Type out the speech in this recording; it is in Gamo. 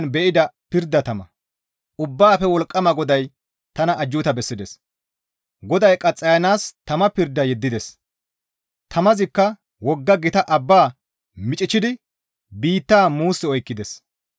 Ubbaafe Wolqqama GODAY tana ajjuuta bessides; GODAY qaxxayanaas tama pirda yeddides; tamazikka wogga gita abbaa miichchidi biitta muus oykkides.